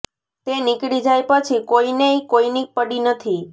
એ નીકળી જાય પછી કોઇને ય કોઇની પડી નથી